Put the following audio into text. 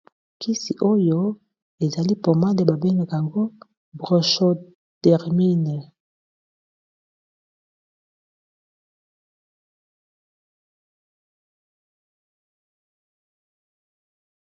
Kisi oyo ezali pomade babengaka yango Bronchodermine.